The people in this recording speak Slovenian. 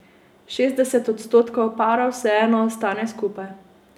Šestdeset odstotkov parov vseeno ostane skupaj.